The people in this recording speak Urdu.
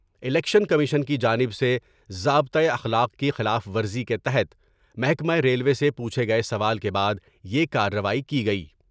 الیکشن کمیشن کی جانب سے ضابطہ اخلاق کی خلاف ورزی کے تحت محکمہ ریلوے سے پوچھے گئے سوال کے بعد یہ کاروائی کی گئی ۔